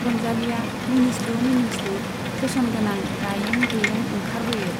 रंजालीया मिनिस्लु मिनिस्लु फेसन गोनां गायें गुयें ओंखारबोयो।